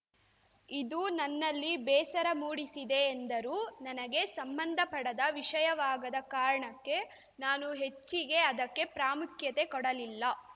ಇದು ನನ್ನಲ್ಲಿ ಬೇಸರ ಮೂಡಿಸಿದೆ ಎಂದರು ನನಗೆ ಸಂಬಂಧಪಡದ ವಿಷಯವಾಗದ ಕಾರಣಕ್ಕೆ ನಾನು ಹೆಚ್ಚಿಗೆ ಅದಕ್ಕೆ ಪ್ರಾಮುಖ್ಯತೆ ಕೊಡಲಿಲ್ಲ